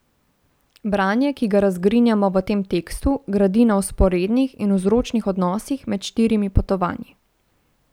Branje, ki ga razgrinjamo v tem tekstu, gradi na vzporednih in vzročnih odnosih med štirimi potovanji.